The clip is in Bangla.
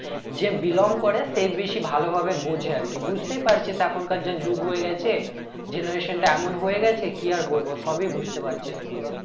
যে belong করে সেই বেশি ভালো ভাবে বোঝে আর কি বুঝতেই পারছিস এখনকার যা যুগ হয়ে গেছে generation টা এমন হয়ে গেছে যে কি আর বলবো সবই বুঝতে পারছিস তুই ও